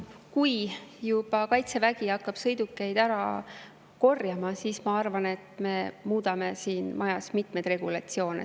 Kui juba Kaitsevägi hakkab sõidukeid ära korjama, siis ma arvan, et me muudame siin majas mitmeid regulatsioone.